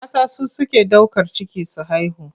Mata su suke ɗaukar ciki su haihu.